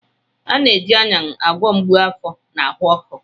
A na-eji Ayan agwọ mgbu afọ na ahụ ọkụ.